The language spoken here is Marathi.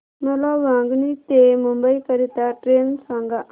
मला वांगणी ते मुंबई करीता ट्रेन सांगा